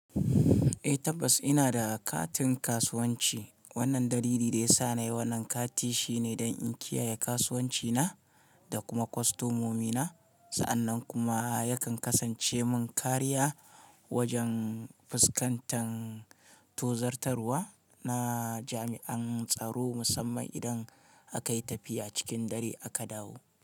Eh tabbas ina da katin kasuwanci. Wannan dalili da ya sa na yi wannan kati shine don in kiyaye kasuwanci na da kuma kwastomomina. Sa'annan kuma yakan kasance mun kariya wajen fuskantan tozarwa na jami'an tsaro musamman idan akai tafiya cikin dare aka dawo.